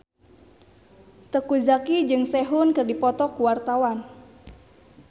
Teuku Zacky jeung Sehun keur dipoto ku wartawan